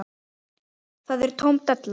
Það er tóm della.